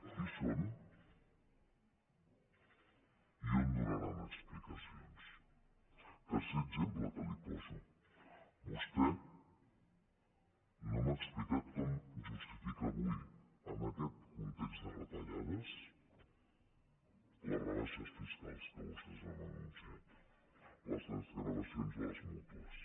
qui són i on donaran explicacions tercer exemple que li poso vostè no m’ha explicat com justifica avui en aquest context de retallades les rebaixes fiscals que vostès han anunciat les desgravacions a les mútues